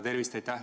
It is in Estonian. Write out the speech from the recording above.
Tervist!